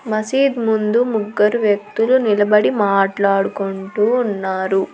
మసీద్ ముందు ముగ్గురు వ్యక్తులు నిలబడి మాట్లాడుకుంటూ ఉన్నారు.